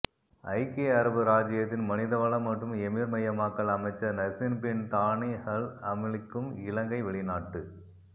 ஐக்கிய அரபு இராஜ்ஜியத்தின் மனிதவள மற்றும் எமிர் மயமாக்கல் அமைச்சர் நசீர் பின் தானி அல் ஹம்லிக்கும் இலங்கை வெளிநாட்டு